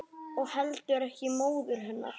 Og heldur ekki móður hennar.